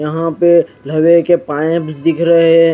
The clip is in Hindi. यहा पे लवे के पाये भी दिख रहे है।